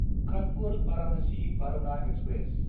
कानपुर–भारानासि Varuna express